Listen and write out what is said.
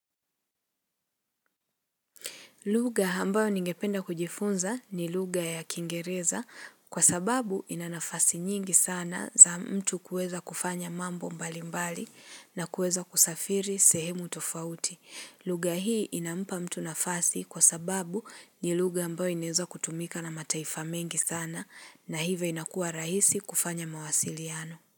Lugaha ambayo ningependa kujifunza ni lugha ya kingereza kwa sababu inanafasi nyingi sana za mtu kuweza kufanya mambo mbali mbali na kuweza kusafiri sehemu tofauti. Lugha hii inampa mtu nafasi kwa sababu ni lugha ambayo inaweza kutumika na mataifa mengi sana na hivyo inakuwa rahisi kufanya mawasiliano.